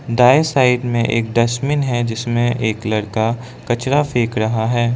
दाएं साइड में एक डस्टबिन है जिसमें एक लड़का कचरा फेंक रहा है।